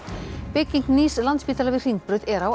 bygging nýs Landspítala við Hringbraut er á